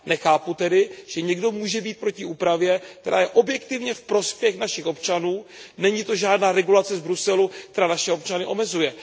Nechápu tedy, že někdo může být proti úpravě, která je objektivně ve prospěch našich občanů, není to žádná regulace z Bruselu, která naše občany omezuje.